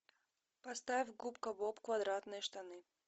поставь губка боб квадратные штаны